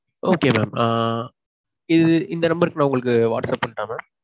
Okay mam ஆஹ் இது இந்த நம்பருக்கு நான் whatsapp பண்ணட்டா mam?